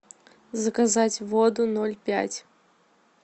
заказать воду ноль пять